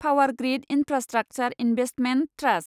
power grid infrastructure investment trust